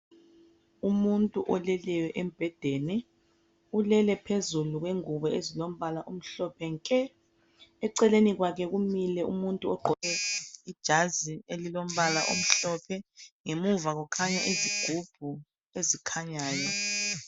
Umuntu oleleyo embhedeni, ulele phezulu kwengubo ezilombala omhlophe nke eceleni kwakhe kumile umuntu ogqoke ijazi elilombala omhlophe ngemuva kukhanya izigubhu ezikhanyayo.